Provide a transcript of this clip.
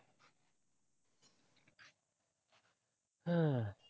அஹ்